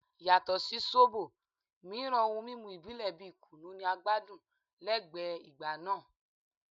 Yato si zobo miiran ohun mimu ibile bi kunu ni a gbadun lẹgbẹẹ igba naa